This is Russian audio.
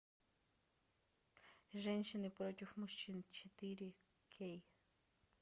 женщины против мужчин четыре кей